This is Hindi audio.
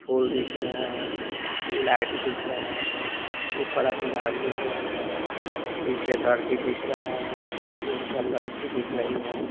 फूल दिख रहा है लाइट दिख रहा है ऊपर आसमान दिख रहा है नीचे धरती दिख रहा है तीनचार लड़की दिख रही है।